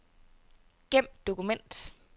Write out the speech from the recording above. Gem dokument.